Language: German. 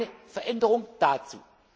ist. Keine Veränderung